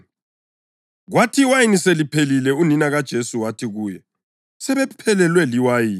Kwathi iwayini seliphelile unina kaJesu wathi kuye, “Sebephelelwe liwayini.”